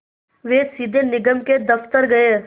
वे सीधे निगम के दफ़्तर गए